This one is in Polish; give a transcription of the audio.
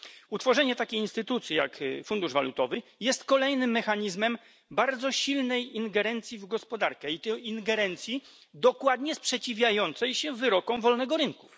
Utworzenie takiej instytucji jak fundusz walutowy jest kolejnym mechanizmem bardzo silnej ingerencji w gospodarkę, i to ingerencji dokładnie sprzeciwiającej się wyrokom wolnego rynku.